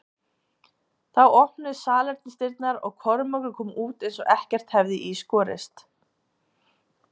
Þá opnuðust salernisdyrnar og Kormákur kom út eins og ekkert hefði í skorist.